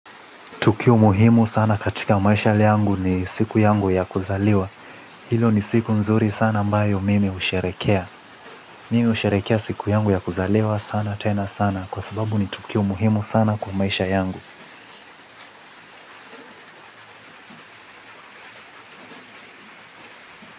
Tukio muhimu sana katika maisha yangu ni siku yangu ya kuzaliwa. Hilo ni siku nzuri sana ambayo mimi husherehekea. Mimi husherehekea siku yangu ya kuzaliwa sana tena sana kwa sababu ni tukio muhimu sana kwa maisha yangu.